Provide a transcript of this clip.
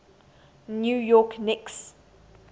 new york knicks